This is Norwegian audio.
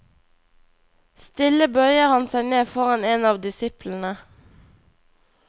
Stille bøyer han seg ned foran en av disiplene.